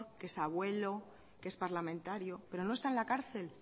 que es abuelo que es parlamentario pero no está en la cárcel